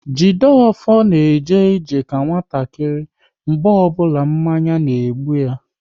Jideofor na eje ije ka nwatakịrị mgbe ọbụla mmanya na-egbu ya